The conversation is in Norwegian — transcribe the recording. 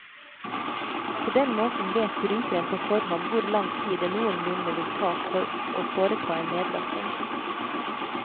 På den måten vet brukeren på forhånd hvor lang tid det noenlunde vil ta for å foreta en nedlasting.